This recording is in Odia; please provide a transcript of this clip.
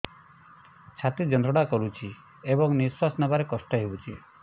ଛାତି ଯନ୍ତ୍ରଣା କରୁଛି ଏବଂ ନିଶ୍ୱାସ ନେବାରେ କଷ୍ଟ ହେଉଛି